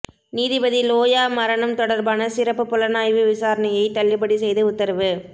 நீதிபதி லோயா மரணம் தொடர்பான சிறப்பு புலனாய்வு விசாரணையை தள்ளுபடி செய்து உத்தரவு